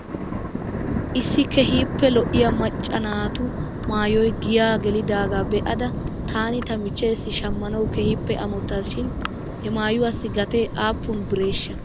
Issi keehippe lo'iyaa macca naatu maayoy giyaa gelidaagaa be'ada taani tamichcheessi shamanaw keehippe amottas shin he maayuwaassi gatee aappun bireeshsha?